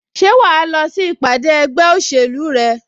Ṣé wà á lọ sí ìpàdé ẹgbẹ́ òṣèlú rẹ?